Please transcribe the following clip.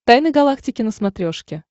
тайны галактики на смотрешке